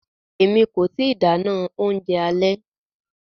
Emi ko ti dáná oúnjẹ alẹ́.